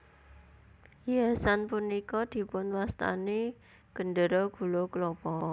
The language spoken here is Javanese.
Hiasan punika dipun wastani Gendera Gula Klapa